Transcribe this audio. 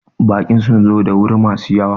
Bakin sun zo da wuri ma su yawa